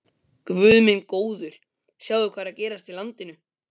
Guð minn góður: sjáðu hvað er að gerast í landinu.